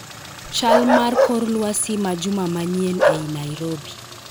Chal mar kor lwasi ma juma manyien ei Nairobi